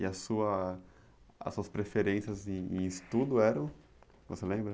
E a sua, as suas preferências em estudo eram, você lembra?